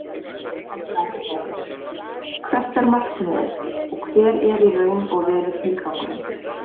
Helga Arnardóttir: Hvert er markmiðið og hver er í raun og veru tilgangurinn?